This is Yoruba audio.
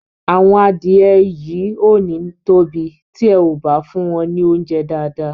Àwọn adìẹ yìí ò ní tóbi tí e ò bá fún wọn ní óunjẹ́ dáàdáà.